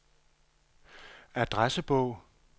adressebog